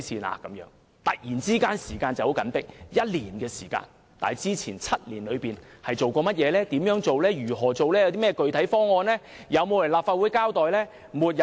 短短1年時間，政府突然說時間十分緊迫，但之前7年沒有採取行動，沒有提出具體方案，沒有前來立法會交代。